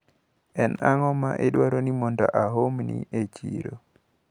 En ang`o maidwaro ni aomni e chiro?